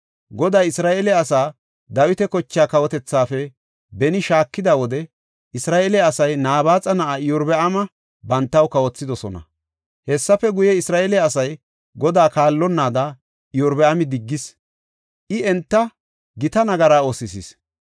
Goday Isra7eele asaa Dawita kochaa kawotethaafe beni shaakida wode, Isra7eele asay Nabaaxa na7aa Iyorbaama bantaw kawothidosona. Hessafe guye, Isra7eele asay Godaa kaallonnaada Iyorbaami diggis; I enta gita nagara oosisis.